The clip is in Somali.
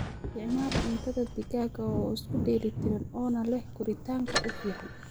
Isticmaal cuntadha digaaga oo isku dheeli tiran oo na leeh koritaanka u fican.